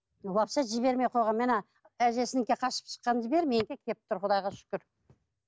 вообще жібермей қойған мен ана әжесінікіне қашып шыққан құдайға шүкір